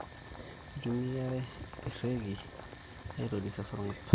Kitumiai erekii aitoris esarngab